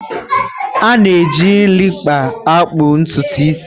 A na eji klịpa akpụ ntụtụ isi.